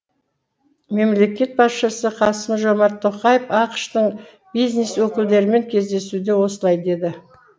мемлекет басшысы қасым жомарт тоқаев ақш тың бизнес өкілдерімен кездесуде осылай деді